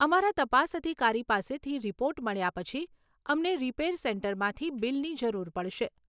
અમારા તપાસ અધિકારી પાસેથી રિપોર્ટ મળ્યા પછી, અમને રિપેર સેન્ટરમાંથી બિલની જરૂર પડશે.